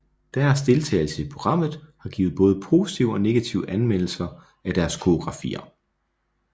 Deres deltagelse i programmet har givet både positive og negative anmeldelser af deres koreografier